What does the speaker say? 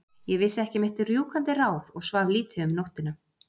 Ég vissi ekki mitt rjúkandi ráð og svaf lítið um nóttina.